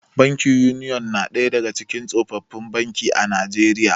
Bankin Union na ɗaya daga cikin tsofaffin banki a Najeriya.